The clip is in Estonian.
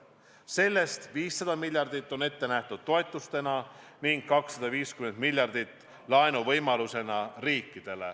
Sellest 500 miljardit on ette nähtud toetustena ning 250 miljardit laenuvõimalustena.